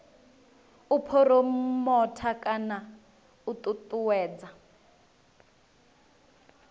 u phuromotha kana u ṱuṱuwedza